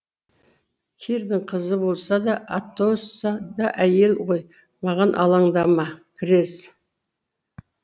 кирдің қызы болса да атосса да әйел ғой маған алаңдама крез